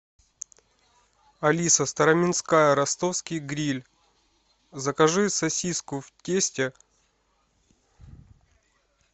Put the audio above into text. алиса староминская ростовский гриль закажи сосиску в тесте